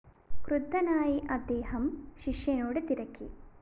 ക്രുദ്ധനായി അദ്ദേഹം ശിഷ്യനോട് തിരക്കി